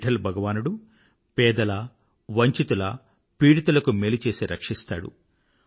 విఠ్ఠల్ భగవానుడు పేదల వంచితుల పీడితులకు మేలు చేసి రక్షిస్తాడు